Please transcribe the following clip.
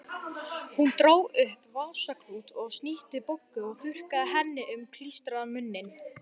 Hún dró upp vasaklút og snýtti Boggu og þurrkaði henni um klístraðan munninn.